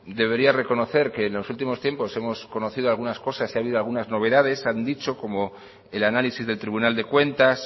debería reconocer que en los últimos tiempos hemos conocido algunas cosas y ha habido algunas novedades como el análisis del tribunal de cuentas